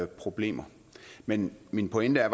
problemer men min pointe er